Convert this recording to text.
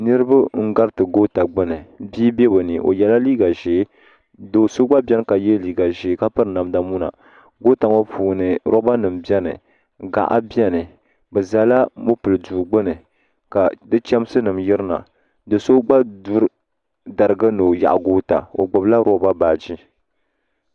Niriba n gariti goota gbini bia be bɛ ni o yela liiga ʒee do'so gba biɛni ka ye liiga ʒee ka piri namda muna goota ŋɔ puuni loba nima biɛni gaɣa biɛni bɛ zala mopili duu gbini ka di chemsi nima yirina do'so gba duri darigu ni o yaɣi goota o gbibila loba baaji.